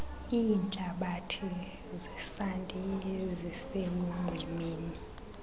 iintlabathi zesanti eziselunxwemeni